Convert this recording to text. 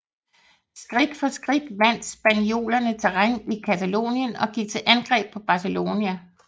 Skridt for skridt vandt spanjolerne terræn i Catalonien og gik til angreb på Barcelona